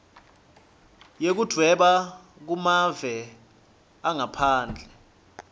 yekudvweba kumave angaphandle